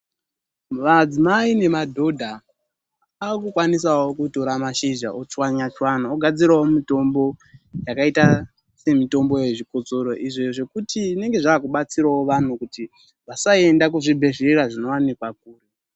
Madzimai nemadhodha ave kukwanisawo kutora mashizha ochwanya chwanya ogadzirawo mitombo yakaita semitombo yezvikosoro, izvo zvekuti zvinenge zvave kubatsirawo vantu kuti vasaenda kuzvibhedhlera zvinowanikwa kuretu.